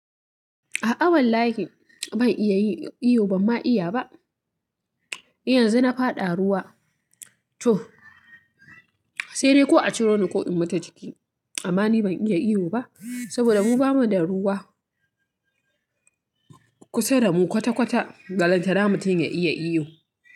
A'a wallahi ban iya yin iyo ba, amma iya. Yanzu na faɗa ruwa to sai dai ko a ciro ni ko in mutu ciki. Amma ni ban iya iyo ba saboda mu ba mu da ruwa kusa da mu kwata-kwata balanta mutum ya iya ihu.